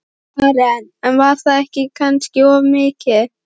Karen: En var það kannski of mikið?